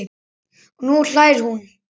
Og nú hlær hún.